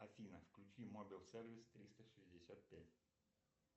афина включи мобил сервис триста шестьдесят пять